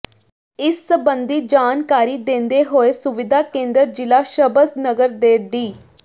ਇਸ ਸਬੰਧੀ ਜਾਣਕਾਰੀ ਦਿੰਦੇ ਹੋਏ ਸੁਵਿਧਾ ਕੇਂਦਰ ਜ਼ਿਲ੍ਹਾ ਸ਼ਭਸ ਨਗਰ ਦੇ ਡੀ